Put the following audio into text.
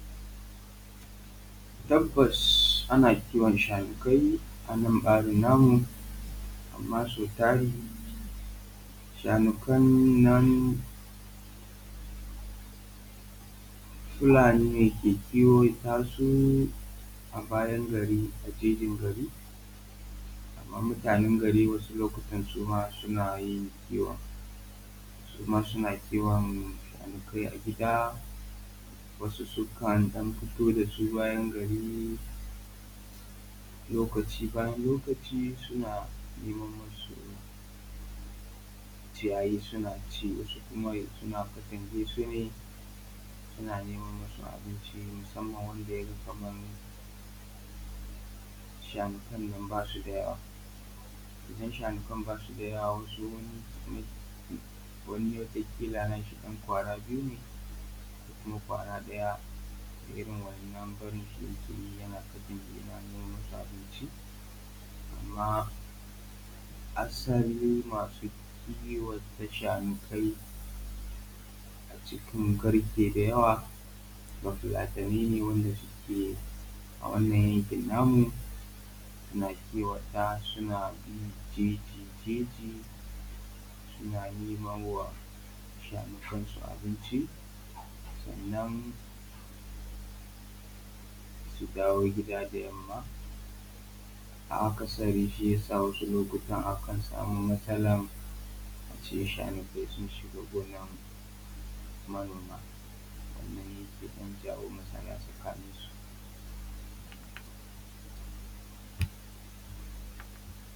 Tabbas ana kiwon shanukai a nan ɓarin namu, amma sau tari shanukan nan Fulani ne ke kiwata su a bayan gari, a jejin gari. Amma mutanan gari wasu lokacin suma suna yin kiwon, suma suna kiwon shanukai a gida, wasu sukan ɗan fito da su bayan gari lokacin bayan lokacin suna neman masu ciyayi suna ci, wasu kuma suna katange su ne suna neman masu abinci musamman wanda yaga kamar shanukan nan basu da yawa. Idan shanukan nan ba su da yawa wani kila ya ga ƙila na shi ɗan ƙwara biyu ne ko kuma ƙwara ɗaya irin wa'innan barinsu yake yana katange su yana nemo masu abinci. Amma asalin masu kiwata shanukai a cikin garke da yawa bafulatani ne wanda suke a wannan yanki namu suna kiwata suna bin jeji jeji suna nemawa shanukai su abinci, sannan su dawo gida da yanma a akasari shi yasa wasu lokutan akan samu matsala a ce shanukai sun shiga gonan manoma kamar yanda zai jawo matsala a tsakaninsu.